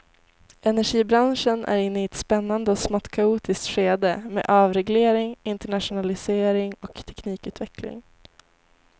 Energibranschen är inne i ett spännande och smått kaotiskt skede med avreglering, internationalisering och teknikutveckling.